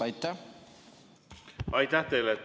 Aitäh teile!